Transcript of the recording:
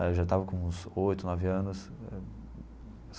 Éh eu já estava com uns oito, nove anos.